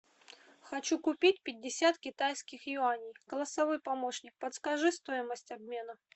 хочу купить пятьдесят китайских юаней голосовой помощник подскажи стоимость обмена